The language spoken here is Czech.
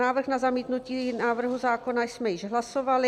Návrh na zamítnutí návrhu zákona jsme již hlasovali.